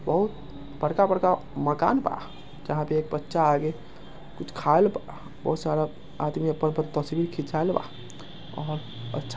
बहुत बड़का-बड़का मकान बा जहाँ पे एक बच्चा आगे कुछ खाएल बा आदमी अपन-अपन तस्वीर